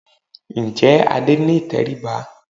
Ǹjẹ́ Adé ní ìtẹríba?